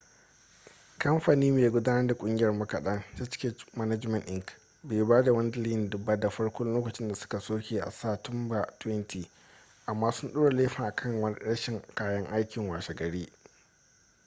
kamfani mai gudanar da kungiyar makadan hk management inc bai ba da wani dalili ba da farko lokacin da suka soke a sa tumba 20 amma sun ɗora laifin a kan rashin kayan aiki washe gari